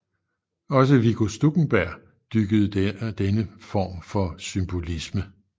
Også Viggo Stuckenberg dyrkede denne form for symbolisme